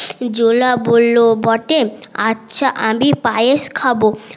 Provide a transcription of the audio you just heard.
জোলা বললো বটে আচ্ছা আমি পায়েস খাবো